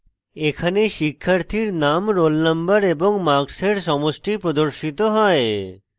এখানে শিক্ষার্থীর name roll number এবং marks সমষ্টি প্রদর্শিত হয়